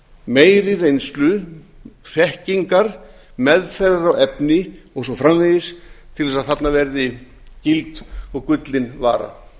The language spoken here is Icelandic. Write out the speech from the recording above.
meiri reynslu þekkingar meðferðar á efni og svo framvegis til þess að þarna verði gild og gullin vara